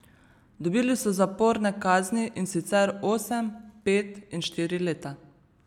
Dobili so zaporne kazni, in sicer osem, pet in štiri leta.